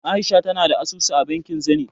A'isha tana da asusu a bankin Zenith.